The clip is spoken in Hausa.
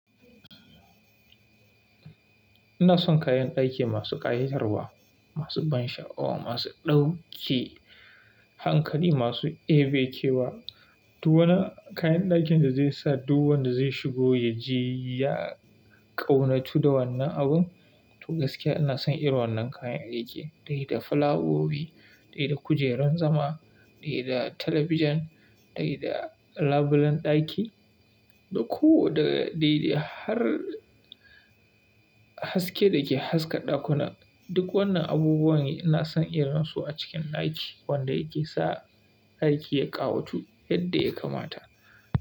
Ina son kayan daki masu ƙayatarwa, masu ban sha'awa, masu ɗauke hankali, masu ebakewa, duk wani kayan dakin da zai sa duk wanda zai shigo ya ji ya ƙaunatu da wannan abun. Toh gaskiya ina son irin wannan kayan daki, dai da fulawowi, dai da kujeran zama, dai da talabijin, dai da labulen ɗaki, duk ko da dai da har haske da ke haska ɗakunan. Duk wannan abubuwan ina son irin su a cikin ɗaki, wanda yake sa ɗaki ya ƙawatu yadda ya kamata.